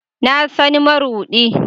Na san marudi